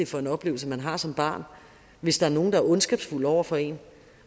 for en oplevelse man har som barn hvis der er nogle der er ondskabsfulde over for en